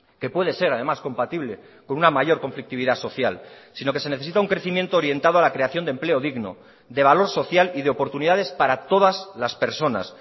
que puede ser además compatible con una mayor conflictividad social sino que se necesita un crecimiento orientado a la creación de empleo digno de valor social y de oportunidades para todas las personas